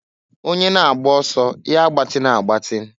Onye na-agba ọsọ ya agbatịna agbatin.